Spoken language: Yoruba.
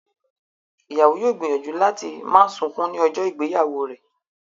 Ìyàwó yóò gbìyànjú láti má sunkún ní ọjọ́ ìgbéyàwó rẹ̀